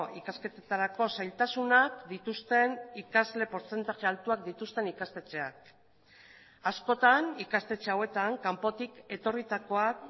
ikasketetarako zailtasunak dituzten ikasle portzentaje altuak dituzten ikastetxeak askotan ikastetxe hauetan kanpotik etorritakoak